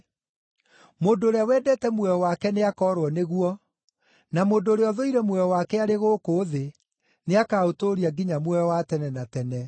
Mũndũ ũrĩa wendete muoyo wake nĩakoorwo nĩguo, na mũndũ ũrĩa ũthũire muoyo wake arĩ gũkũ thĩ, nĩakaũtũũria nginya muoyo wa tene na tene.